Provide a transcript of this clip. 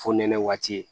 Fonɛnɛ waati